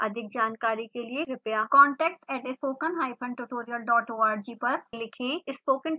अधिक जानकारी के लिए कृपया contact@spokentutorialorg पर लिखें